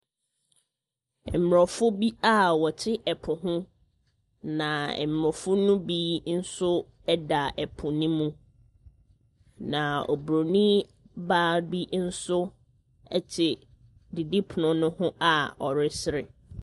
Mmorɔfo bi a wɔte ɛpo ho. Na Mmorɔfo no bi nso da ɛpo no mu. Na Oburonin baa bi nso te didipononoho a ɔresere.